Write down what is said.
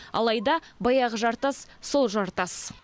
алайда баяғы жартас сол жартас